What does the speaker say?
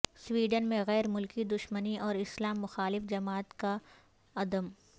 Sweden میں غیر ملکی دشمنی اوراسلام مخالف جماعت کالعدم